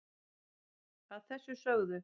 að þessu sögðu